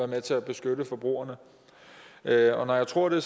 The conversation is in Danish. med til at beskytte forbrugerne når jeg tror det